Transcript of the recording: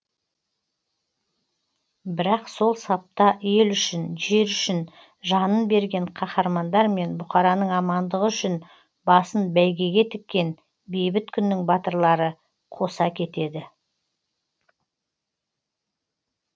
бірақ сол сапта ел үшін жер үшін жанын берген қаһармандар мен бұқараның амандығы үшін басын бәйгеге тіккен бейбіт күннің батырлары қоса кетеді